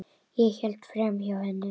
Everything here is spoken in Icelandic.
Ég hélt framhjá henni.